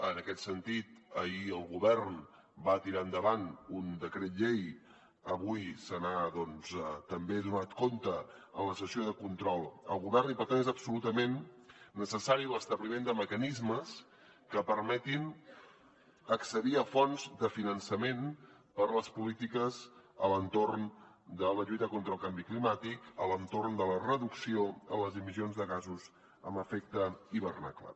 en aquest sentit ahir el govern va tirar endavant un decret llei avui se n’ha doncs també donat compte en la sessió de control al govern i per tant és absolutament necessari l’establiment de mecanismes que permetin accedir a fonts de finançament per a les polítiques a l’entorn de la lluita contra el canvi climàtic a l’entorn de la reducció de les emissions de gasos amb efecte hivernacle